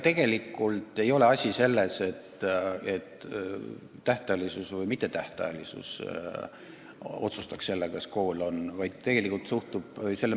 Tegelikult ei ole asi selles, kas leping on tähtajaline või mittetähtajaline.